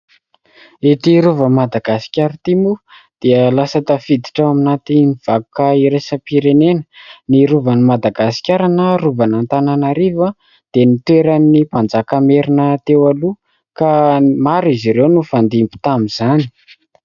Ity rovan'i Madagasikara ty mo, dia lasa tafiditra ao anaty vakoka iraisam-pirenena. Ny rovan'i Madagasikara na rovan'Antananarivo, dia ny toeran'ny Mpanjaka merina teo aloha ; ka maro izy ireo no nifandimby tamizany.